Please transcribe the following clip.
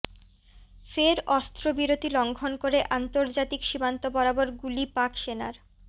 ফের অস্ত্রবিরতি লঙ্ঘন করে আন্তর্জাতিক সীমান্ত বরাবর গুলি পাক সেনার